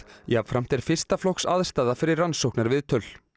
jafnframt er fyrsta flokks aðstaða fyrir rannsóknarviðtöl